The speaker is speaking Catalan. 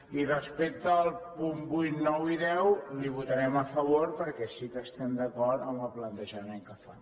i respecte als punts vuit nou i deu els hi votarem a favor perquè sí que estem d’acord amb el plantejament que fan